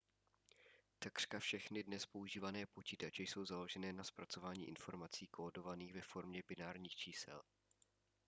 takřka všechny dnes používané počítače jsou založené na zpracování informací kódovaných ve formě binárních čísel